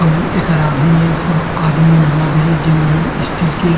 अउ एकर आगू में सब आदमी मन हाबे जेमन हा स्टील के --